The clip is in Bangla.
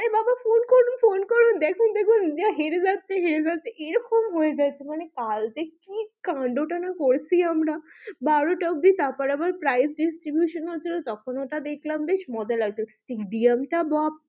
দিয়ে হেরে যাচ্ছে, হেরে যাচ্ছে এরকম হয়ে যাচ্ছে মানে কাল যে কি কান্ডটা না করেছি আমরা বারোটা অবধি তারপরে আবার prize distribution হচ্ছিল তখন ওটা দেখলাম বেশ মজা লাগছিল বাপরে,